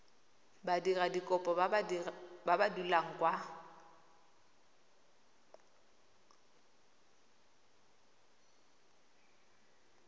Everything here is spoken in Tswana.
badiradikopo ba ba dulang kwa